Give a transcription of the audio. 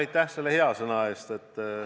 Aitäh teile hea sõna eest!